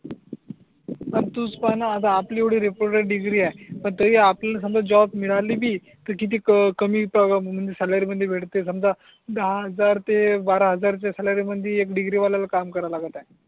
तूच पाय णा आता आपली आता येवडी रेपोरेट डिग्री आहे पण तरी आपल्याला समजा जॉब मिळाली बी त किती कमी सॅलरी मध्ये भेटे समजा दहा हजार ते बारा हजारच्या सॅलरी मधी एक डिग्री वाल्याला काम करा लागत आहे.